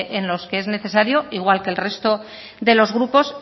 en los que es necesario igual que el resto de los grupos